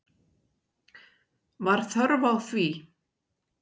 Var þörf á því?